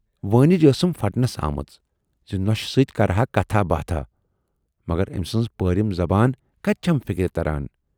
وٲنِج ٲسٕم پھَٹنس آمٕژ زِ نۅشہِ سۭتۍ کرٕ ہا کتھاہ باتھاہ، مگر ٲمۍ سٕنز پٲرِم زبان کتہِ چھَم فِکری تران۔